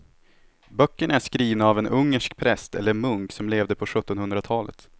Böckerna är skrivna av en ungersk präst eller munk som levde på sjuttonhundratalet.